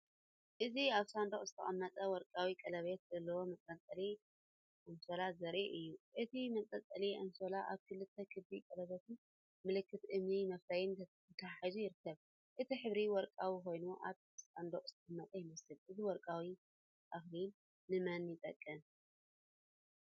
እዚ ኣብ ሳንዱቕ ዝተቐመጠ ወርቃዊ ቀለቤት ዘለዎ መንጠልጠሊ ኣንሶላ ዘርኢ እዩ። እቲ መንጠልጠሊ ኣንሶላ ኣብ ክልተ ክቢ ቀለቤትን ምልክት እምኒ መፍረይን ተተሓሒዙ ይርከብ። እቲ ሕብሪ ወርቃዊ ኮይኑ ኣብ ሳንዱቕ ዝተቐመጠ ይመስል። እዚ ወርቃዊ ኣኽሊል ንመን ይጠቅም?